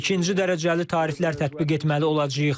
İkinci dərəcəli tariflər tətbiq etməli olacağıq.